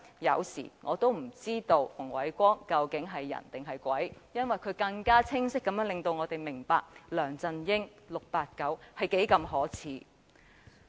有時我也不知道馮煒光究竟是人還是鬼，因為他令我們更加清晰地看到 "689" 是多麼的可耻。